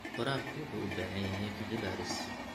Waraabka wuxuu u baahan yahay qorshooyin cilmi baaris.